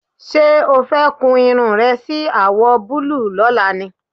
Ṣé o fẹ́ kun irun rẹ sí àwọ̀ búlúù lọ́la ni?